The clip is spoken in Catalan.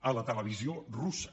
a la televisió russa